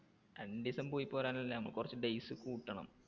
രണ്ടുദിവസം പോയിപോരാൻ അല്ല നമുക്ക് കുറച്ച് days കൂട്ടണം.